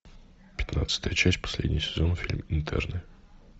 пятнадцатая часть последний сезон фильм интерны